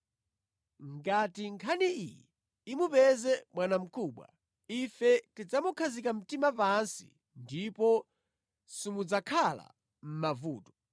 Ngati nkhani iyi imupeze bwanamkubwa, ife tidzamukhazika mtima pansi ndipo simudzakhala mʼmavuto.”